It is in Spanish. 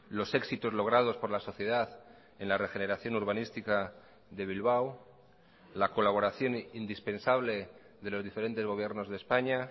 los éxitos logrados por la sociedad en la regeneración urbanística de bilbao la colaboración indispensable de los diferentes gobiernos de españa